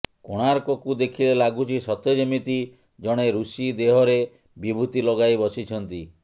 କୋଣାର୍କକୁ ଦେଖିଲେ ଲାଗୁଛି ସତେ ଯେମିତି ଜଣେ ଋଷି ଦେହରେ ବିଭୂତି ଲଗାଇ ବସିଛନ୍ତି